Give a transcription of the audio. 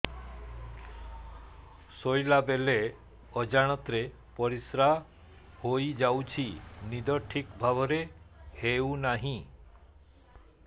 ଶୋଇଲା ବେଳେ ଅଜାଣତରେ ପରିସ୍ରା ହୋଇଯାଉଛି ନିଦ ଠିକ ଭାବରେ ହେଉ ନାହିଁ